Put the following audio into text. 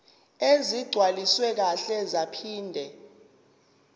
ezigcwaliswe kahle zaphinde